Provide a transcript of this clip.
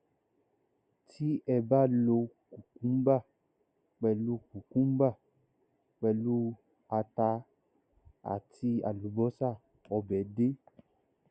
tí ẹ bá lo cucumber pẹlú cucumber pẹlú ata àti àlùbọsà ọbẹ dé